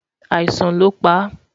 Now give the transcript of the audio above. àìsàn ló pa